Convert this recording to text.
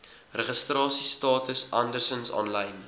registrasiestatus andersins aanlyn